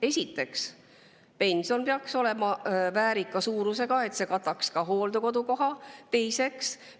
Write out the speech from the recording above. Esiteks, pension peaks olema väärika suurusega, et see kataks ka hooldekodukoha.